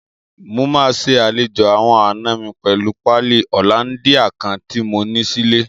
Mo máa ṣe àlejò àwọn àna mi pẹ̀lú páálí hollandia kan tí mo ní sílé.